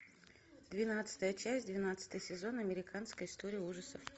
двенадцатая часть двенадцатый сезон американская история ужасов